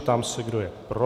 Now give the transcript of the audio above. Ptám se, kdo je pro.